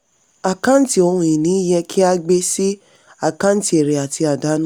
àkáǹtì ohun ìní yẹ kí a gbé sí àkáǹtì èrè àti àdánù.